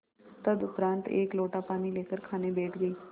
तदुपरांत एक लोटा पानी लेकर खाने बैठ गई